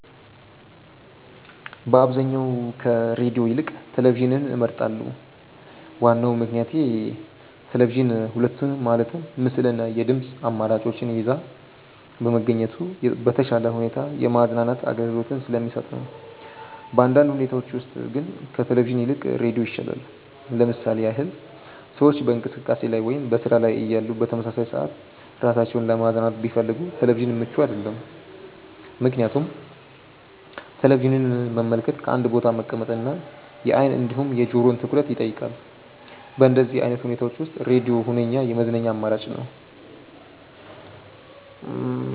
በአብዛኛው ከሬድዮ ይልቅ ቴሌቪዥንን እመርጣለሁ። ዋናው ምክንያቴ ቴሌቪዥን ሁለቱንም ማለትም ምስል እና የድምጽ አማራጮችን ይዞ በመገኘቱ በተሻለ ሁኔታ የማዝናናት አገልግሎትን ስለሚሰጥ ነው። በአንዳንድ ሁኔታዎች ውስጥ ግን ከቴሌቪዥን ይልቅ ሬዲዮ ይሻላል። ለምሳሌ ያህል ሰዎች በእንቅስቃሴ ላይ ወይም በስራ ላይ እያሉ በተመሳሳይ ሰዓት ራሳቸውን ለማዝናናት ቢፈልጉ ቴሌቪዥን ምቹ አይደለም፤ ምክንያቱም ቴሌቪዥንን መመልከት በአንድ ቦታ መቀመጥ እና የአይን እንዲሁም የጆሮውን ትኩረት ይጠይቃል። በእንደዚህ አይነት ሁኔታዎች ውስጥ ሬድዮ ሁነኛ የመዝናኛ አማራጭ ነው።